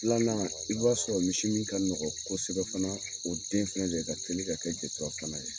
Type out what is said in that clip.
Filanan i b'a sɔrɔ misi min ka nɔgɔn kosɛbɛ fana, o den fɛnɛ de ka teli ka kɛ jetura fana ye.